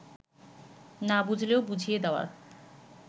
না বুঝলেও বুঝিয়ে দেওয়ার